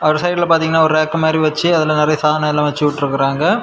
ஒரு சைடுல பாதிங்கன்னா ஒரு ராக் மாரி வெச்சி நெறைய வெச்சிவிட்ருக்காங்க.